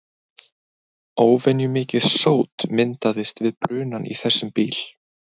Óvenjumikið sót myndast við brunann í þessum bíl.